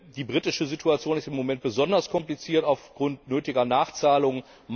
Die britische Situation ist im Moment besonders kompliziert aufgrund nötiger Nachzahlungen.